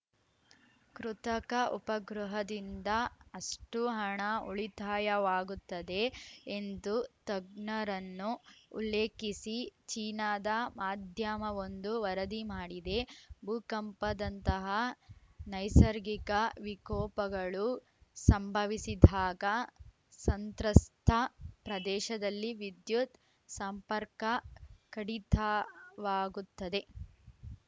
ಕೃತಕ ಉಪಗ್ರಹದಿಂದ ಅಷ್ಟೂಹಣ ಉಳಿತಾಯವಾಗುತ್ತದೆ ಎಂದು ತಜ್ಞರನ್ನು ಉಲ್ಲೇಖಿಸಿ ಚೀನಾದ ಮಾಧ್ಯಮವೊಂದು ವರದಿ ಮಾಡಿದೆ ಭೂಕಂಪದಂತಹ ನೈಸರ್ಗಿಕ ವಿಕೋಪಗಳು ಸಂಭವಿಸಿದಾಗ ಸಂತ್ರಸ್ತ ಪ್ರದೇಶದಲ್ಲಿ ವಿದ್ಯುತ್‌ ಸಂಪರ್ಕ ಕಡಿತಾವಾಗುತ್ತದೆ